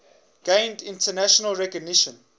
gained international recognition